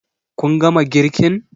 Kun gama girkin?